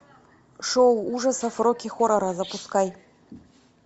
шоу ужасов рокки хоррора запускай